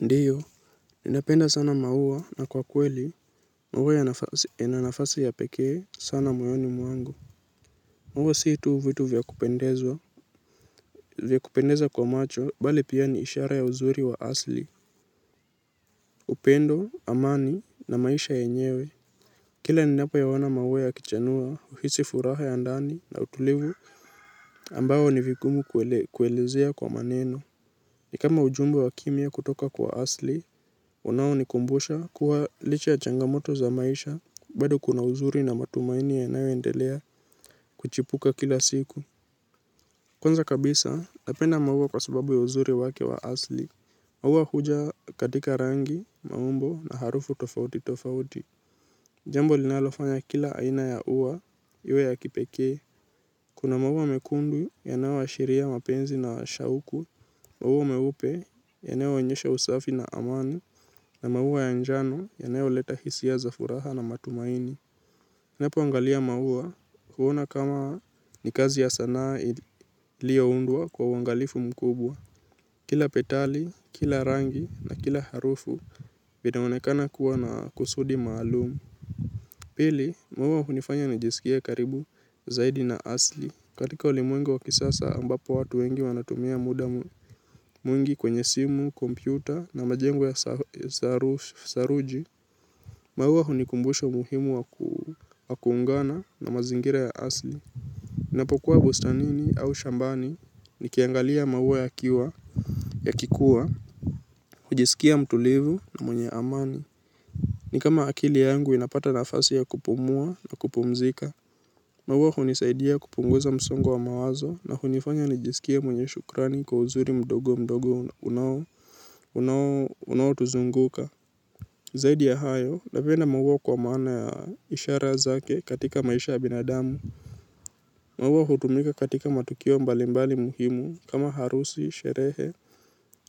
Ndiyo. Ninapenda sana maua na kwa kweli. Mauwa yana nafasi ya pekee sana moyoni mwangu. Maua si tu vitu vya kupendeza kwa macho, bali pia ni ishara ya uzuri wa asli. Upendo, amani na maisha yenyewe. Kila ninapoyaona maua yakichanua, uhisi furaha ya ndani na utulivu ambayo ni vigumu kuelezea kwa maneno. Ni kama ujumbe wa kimya kutoka kwa asli, unaonikumbusha kuwa licha ya changamoto za maisha, bado kuna uzuri na matumaini yanayoendelea kuchipuka kila siku. Kwanza kabisa, napenda mauwa kwa sababu ya uzuri wake wa asli. Mauwa huja katika rangi, maumbo na harufu tofauti tofauti. Jambo linalofanya kila aina ya uwa, iwe ya kipekee. Kuna maua mekundu, yanaoashiria mapenzi na shauku, maua meupe, yanaoonyesha usafi na amani. Na maua ya njano, yanaoleta hisia za furaha na matumaini. Napoangalia maua, huona kama ni kazi ya sanaa ilioundwa kwa uangalifu mkubwa. Kila petali, kila rangi na kila harufu, vinaonekana kuwa na kusudi maalumu. Pili, maua hunifanya nijiskie karibu zaidi na asli katika ulimwengu wa kisasa ambapo watu wengi wanatumia muda mwingi kwenye simu, kompyuta na majengo ya saruji. Maua hunikumbusha muhimu wa kuungana na mazingira ya asli. Napokuwa bustanini au shambani nikiangalia maua yakikuwa, hujisikia mtulivu na mwenye amani. Ni kama akili yangu inapata nafasi ya kupumua na kupumzika. Maua hunisaidia kupunguza msongo wa mawazo na kunifanya nijiskie mwenye shukrani kwa uzuri mdogo mdogo unaotuzunguka. Zaidi ya hayo, napenda maua kwa maana ya ishara zake katika maisha ya binadamu. Maua hutumika katika matukio mbalimbali muhimu kama harusi,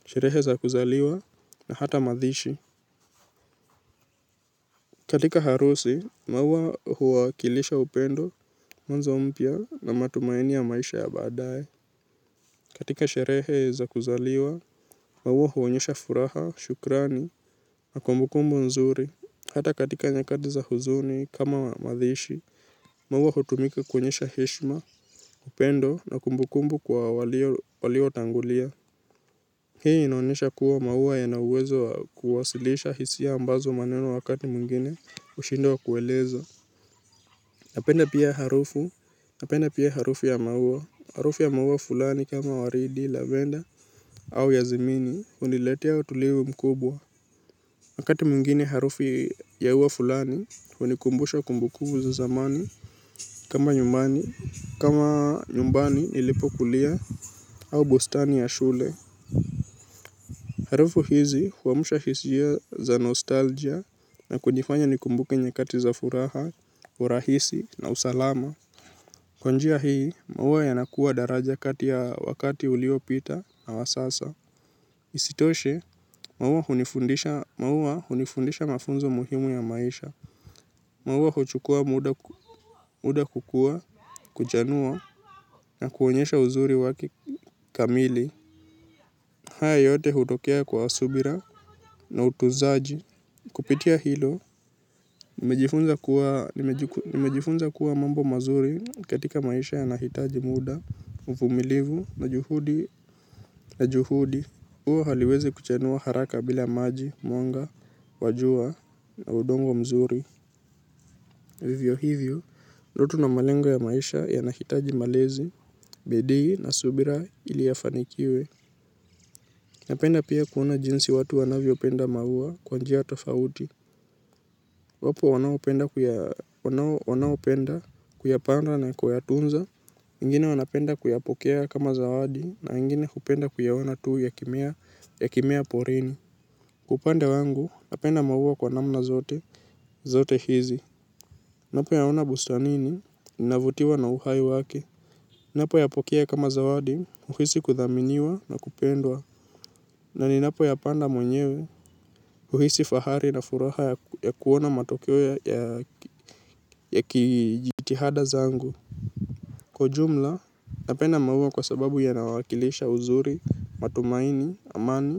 sherehe za kuzaliwa na hata mazishi. Katika harusi, maua huwakilisha upendo, mwanzo mpya na matumaini ya maisha ya badaye katika sherehe za kuzaliwa, maua huonyesha furaha, shukrani, na kumbukumbu nzuri. Hata katika nyakati za huzuni kama madhishi, maua hutumika kuonyesha heshma, upendo, na kumbukumbu kwa waliotangulia. Hii inaonesha kuwa maua yana uwezo wa kuwasilisha hisia ambazo maneno wakati mwingine ushindwa kueleza. Napenda pia harufu ya maua, harufu ya maua fulani kama waridi, lavenda au yazimini, uniletea utulivu mkubwa. Wakati mwingine harufu ya ua fulani, unikumbusha kumbukumbu za zamani kama nyumbani nilipo kulia au bustani ya shule. Harufu hizi huamusha hisia za nostalgia na kunifanya nikumbuke nyakati za furaha, urahisi na usalama. Kwa njia hii, maua yanakua daraja kati ya wakati uliopita na wa sasa. Isitoshe, maua hunifundisha mafunzo muhimu ya maisha. Maua huchukua muda kukua, kuchanua, na kuonyesha uzuri wake kamili. Haya yote hutokea kwa subira na utuzaji. Kupitia hilo, nimejifunza kuwa mambo mazuri katika maisha yanahitaji muda. Uvumilivu na juhudi. Ua haliweze kuchanua haraka bila maji, mwanga, wa jua na udongo mzuri. Vivyo hivyo, ndoto na malengo ya maisha yanahitaji malezi, bidii na subira ili yafanikiwe. Napenda pia kuona jinsi watu wanavyopenda mauwa kwa njia tofauti. Wapo wanaopenda kuyapanda na kuyatunza, wengine wanapenda kuyapokea kama zawadi na wengini hupenda kuyaona tuu yakimea porini. Kwa upande wangu, napenda maua kwa namna zote hizi. Napoyaona bustanini, ninavutiwa na uhai wake. Napoyapokea kama zawadi, uhisi kudhaminiwa na kupendwa. Na ninapoyapanda mwenyewe, uhisi fahari na furaha ya kuona matokeo ya kijitihada zangu kwa ujumla napenda maua kwa sababu yanawakilisha uzuri matumaini amani.